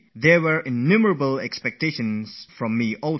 When I used to play cricket, there were a lot of expectations from me as well